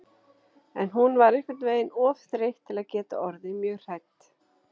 En hún var einhvern veginn of þreytt til að geta orðið mjög hrædd.